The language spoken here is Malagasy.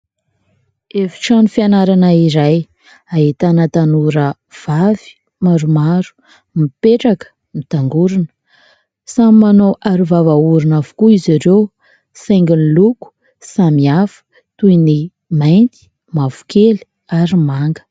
Efitrano fianarana iray, ahitana tanora vavy maromaro, mipetraka, mitangorona, samy manao aro vava orona avokoa izy ireo, saingy ny loko samihafa toy ny mainty, mavokely ary manga.